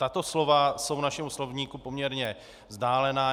Tato slova jsou našemu slovníku poměrně vzdálená.